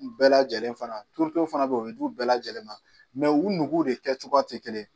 U bɛɛ lajɛlen fana turute fana be yen, o bi d'u bɛɛ lajɛlen ma, u nuguw kɛcogoyaw de ti kelen ye